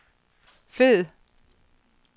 fed